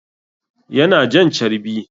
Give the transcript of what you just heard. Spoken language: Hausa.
Yana jan carbi